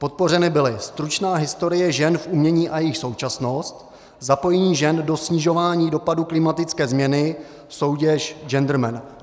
Podpořeny byly: Stručná historie žen v umění a jejich současnost, zapojení žen do snižování dopadů klimatické změny, soutěž Genderman.